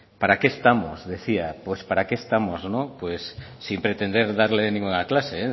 para qué estamos decía pues para qué estamos pues sin pretender darle ninguna clase